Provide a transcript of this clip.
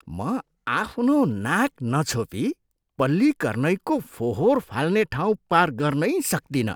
म आफ्नो नाक नछोपी पल्लीकरनईको फोहोर फाल्ने ठाउँ पार गर्नै सक्तिनँ।